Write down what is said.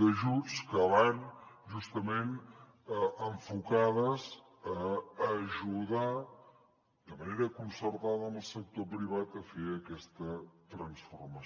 d’ajuts que van justament enfocats a ajudar de manera concertada amb el sector privat a fer aquesta transformació